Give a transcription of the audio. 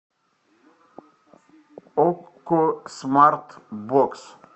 окко смарт бокс